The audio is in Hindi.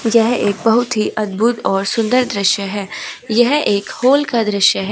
यह एक बहुत ही अद्भुत और सुंदर दृश्य है यह एक हॉल का दृश्य है।